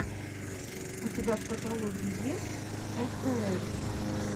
у тебя в каталоге есть эстээр